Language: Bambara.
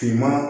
Tuma